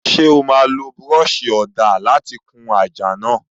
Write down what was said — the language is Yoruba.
Ṣé o máa lo búrọ́ọ̀ṣì ọ̀dà láti kun àjà náà?